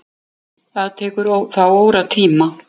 Það tekur þá óratíma.